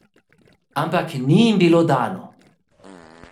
Ampak jim ni bilo dano.